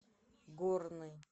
горный